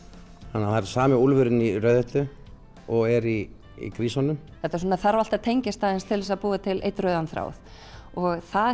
það er sami úlfurinn og í Rauðhettu og er í grísunum þetta þarf allt að tengjast til að búa til einn rauðan þráð og það